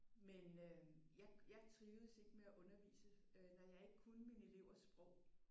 Men øh jeg jeg trivedes ikke med at undervise når jeg ikke kunne mine elevers sprog